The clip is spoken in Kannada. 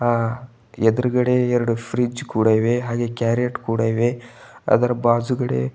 ಆ ಎದುರುಗಡೆ ಎರಡು ಫ್ರಿಡ್ಜ್ ಕೂಡ ಇವೆ ಹಾಗೆ ಕ್ಯಾರೆಟ್ ಕೂಡ ಇವೆ ಅದರ ಬಾಜುಗಡೇ --